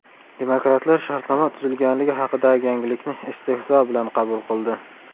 Demokratlar shartnoma tuzilganligi haqidagi yangilikni istehzo bilan qabul qildi.